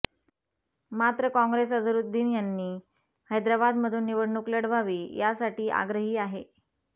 मात्र काँग्रेस अझरुद्दीन यांनी हैद्राबादमधून निवडणूक लढवावी यासाठी आग्रही आहे